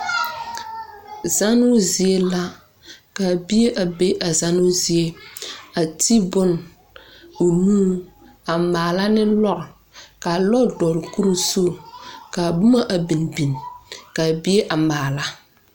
Zanoo zie la. Ka bie a be a zanoo zie. A te bon o nuu a maala ne lɔr. ka a lɔr dogle kur zuŋ. Kaa boma a bing bing kaa bie a maala.